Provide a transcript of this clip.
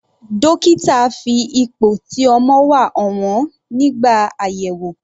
Dókítà fi ipò tí ọmọ wà hàn wọ́n nígbà àyẹ̀wò.